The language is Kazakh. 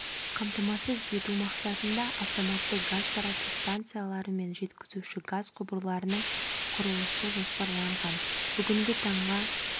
қамтамасыз ету мақсатында автоматты газ тарату станциялары мен жеткізуші газ құбырларының құрылысы жоспарланған бүгінгі таңға